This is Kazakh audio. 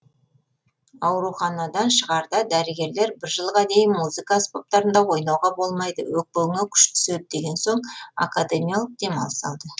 ауруханадан шығарда дәрігерлер бір жылға дейін музыка аспаптарында ойнауға болмайды өкпеңе күш түседі деген соң академиялық демалыс алды